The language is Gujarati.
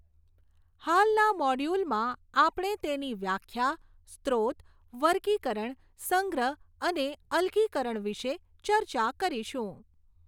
હાલના મોડ્યુલમાં આપણે તેની વ્યાખ્યા, સ્રોત, વર્ગીકરણ, સંગ્રહ અને અલગીકરણ વિશે ચર્ચા કરીશું.